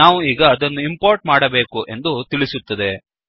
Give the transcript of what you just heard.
ನಾವು ಈಗ ಅದನ್ನು ಇಂಪೋರ್ಟ್ ಮಾಡಬೇಕು ಎಂದು ತಿಳಿಸುತ್ತದೆ